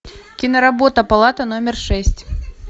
киноработа палата номер шесть